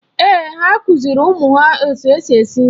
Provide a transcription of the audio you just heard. Èè, ha kụziri ụmụ ha etu eji esi nri